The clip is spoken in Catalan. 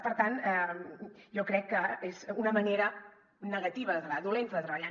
per tant jo crec que és una manera negativa de treballar dolenta de treballar